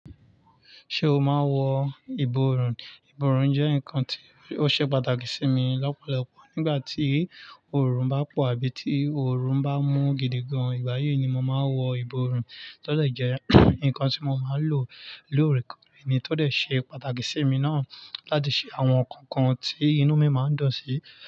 Ṣé o máa n wọ ìborùn? Ìborùn jẹ́ nǹkan tí ó ṣe pàtàkì sí mi lọ́pọ̀lọpọ̀ nígbà tí oòrùn bá pọ̀ àbí tí oòrùn bá mú gidigan. Ìgbà yìí ni mo máa ń wọ ìborùn. Tọ́ dẹ̀ jẹ́, nǹkan tí mo máa ń lò lóòrèkóòrè ni tó dẹ ṣe pàtàkì sí emi náà láti ṣe àwọn nkankan tí inú mi máa ń dun sí.